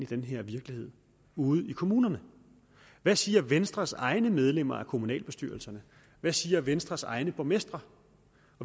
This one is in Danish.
den her virkelighed ude i kommunerne hvad siger venstres egne medlemmer af kommunalbestyrelserne hvad siger venstres egne borgmestre